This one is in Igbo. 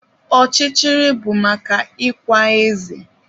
Ọchịchịrị bụ maka ikwa eze